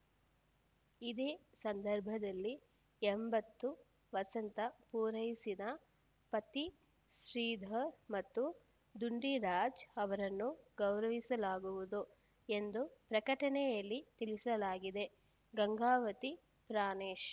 ಇದೇ ಸಂದರ್ಭದಲ್ಲಿ ಎಂಬತ್ತು ವಸಂತ ಪೂರೈಸಿದ ಪತ್ತಿ ಶ್ರೀಧರ್‌ ಮತ್ತು ಡುಂಡಿರಾಜ್‌ ಅವರನ್ನು ಗೌರವಿಸಲಾಗುವುದು ಎಂದು ಪ್ರಕಟಣೆಯಲ್ಲಿ ತಿಳಿಸಲಾಗಿದೆ ಗಂಗಾವತಿ ಪ್ರಾಣೇಶ್‌